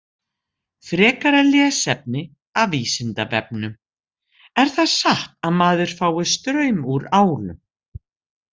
Frekara lesefni af Vísindavefnum: Er það satt að maður fái straum úr álum?